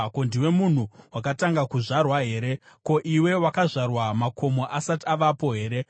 “Ko, ndiwe munhu wakatanga kuzvarwa here? Ko, iwe wakazvarwa makomo asati avapo here?